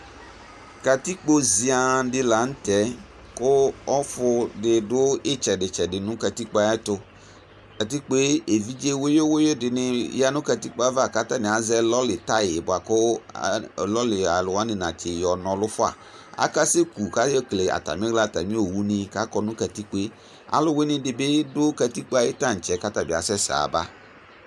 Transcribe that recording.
katikpo zia dini la nu tɛ ku ɔfu nu katikpo ɣɛ tu katikpo evidze wuyʊ wuyʊ dini yanu ayava katani azɛ lɔli taya kana si yɔ na ɔlufʊa kakaseku nu katikpo alu wani bi dʊ katikpo ayu tantsɛ atabi asɛsɛ aba